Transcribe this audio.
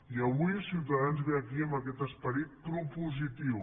i avui ciutadans ve aquí amb aquest esperit propositiu